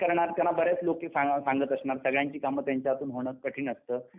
करणार त्याला बरेच लोके सांगत असणार सगळ्यांची मग तेंच्या हाथून होणं कठीण असत